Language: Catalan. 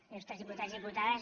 il·lustres diputats i diputades